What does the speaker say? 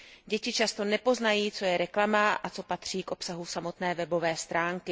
Děti často nepoznají, co je reklama, a co patří k obsahu samotné webové stránky.